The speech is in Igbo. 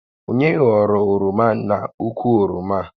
Onye ghọrọ oroma n'ukwu oroma a?